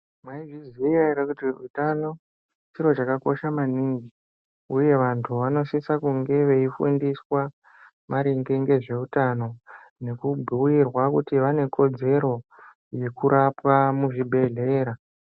Mwaizviziya ere kuti utano, chiro chakakosha maningi, uye vantu vanosisa kunge veifundiswa maringe ngezveutano ,nekubhuirwa kuti vane kodzero, yekurapwa muzvibhedhlera.